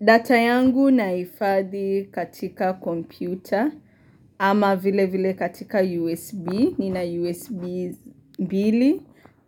Data yangu naifadhi katika kompyuta ama vile vile katika USB, nina USB 2